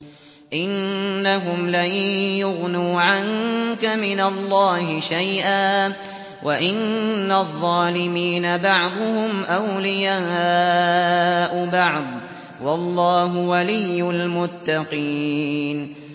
إِنَّهُمْ لَن يُغْنُوا عَنكَ مِنَ اللَّهِ شَيْئًا ۚ وَإِنَّ الظَّالِمِينَ بَعْضُهُمْ أَوْلِيَاءُ بَعْضٍ ۖ وَاللَّهُ وَلِيُّ الْمُتَّقِينَ